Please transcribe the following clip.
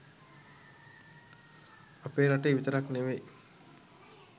අපේ රටේ විතරක් නෙවෙයි